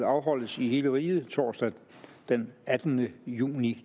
afholdelse i hele riget torsdag den attende juni